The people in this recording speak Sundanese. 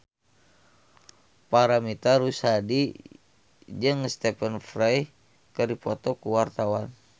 Paramitha Rusady jeung Stephen Fry keur dipoto ku wartawan